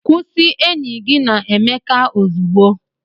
Kwụsị enyi gị na Emeka ozugbo!